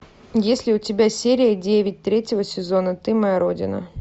есть ли у тебя серия девять третьего сезона ты моя родина